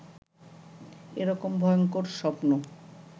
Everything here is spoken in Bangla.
এ রকম ভয়ংকর স্বপ্ন